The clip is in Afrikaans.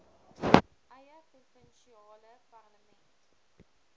eie provinsiale parlement